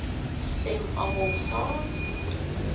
stem almal saam